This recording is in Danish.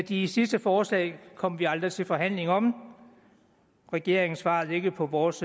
de sidste forslag kom vi aldrig til forhandling om regeringen svarede ikke på vores